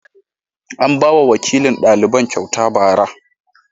An ba wa wakilin daliban kyauta ba'ara.